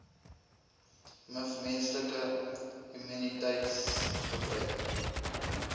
miv menslike immuniteitsgebrek